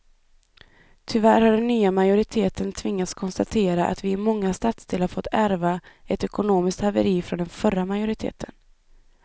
Tyvärr har den nya majoriteten tvingats konstatera att vi i många stadsdelar fått ärva ett ekonomiskt haveri från den förra majoriteten.